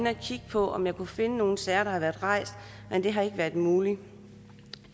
at kigge på om jeg kunne finde nogle sager der havde været rejst men det har ikke været muligt